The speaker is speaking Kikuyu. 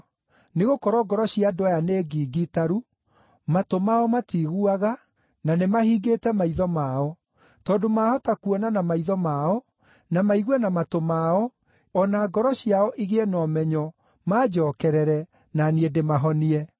“ ‘Nĩgũkorwo ngoro cia andũ aya nĩ ngingitaru; matũ mao matiiguaga, na nĩmahingĩte maitho mao. Tondũ maahota kuona na maitho mao, na maigue na matũ mao, o na ngoro ciao igĩe na ũmenyo, manjookerere, na niĩ ndĩmahonie.’